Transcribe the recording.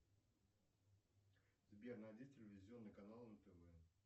сбер найди телевизионный канал нтв